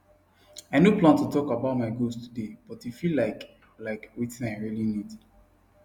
i no plan to talk about my goals today but e feel like like wetin i really need